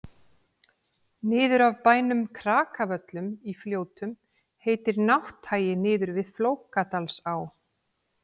niður af bænum krakavöllum í fljótum heitir nátthagi niður við flókadalsá